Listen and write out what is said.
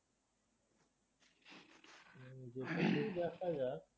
যদি তোর খুব একটা যাক